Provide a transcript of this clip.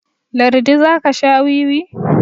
lardi za ka Sha wiwi?